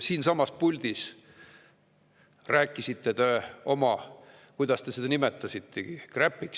Siinsamas puldis rääkisite te – kuidas te seda nimetasitegi?